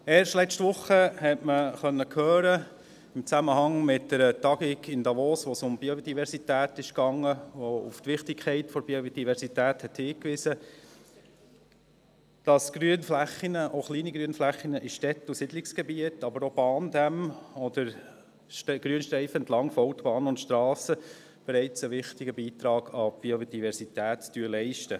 Erst letzte Woche konnte man im Zusammenhang mit einer Tagung in Davos hören, bei der es um Biodiversität ging, die auf die Wichtigkeit der Biodiversität hinwies, dass Grünflächen – auch kleine Grünflächen – in Städten und Siedlungsgebieten, aber auch an Bahndämmen oder Grünstreifen entlang von Autobahnen und Strassen, bereits einen wichtigen Beitrag an die Biodiversität leisten.